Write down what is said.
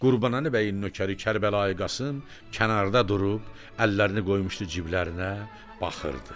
Qurbanəli Bəyin nökəri Kərbəlayı Qasım kənarda durub əllərini qoymuşdu ciblərinə, baxırdı.